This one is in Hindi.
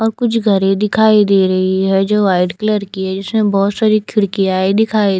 यहाँ कुछ घर दिखाई दे रही है जो वाइट कलर की है इसमें बहोत सारी खिड़किया दिखाई --